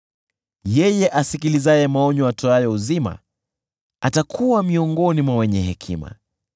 Yeye asikilizaye maonyo yatoayo uzima atakuwa miongoni mwa wenye hekima.